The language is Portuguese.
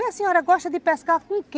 E a senhora gosta de pescar com o quê?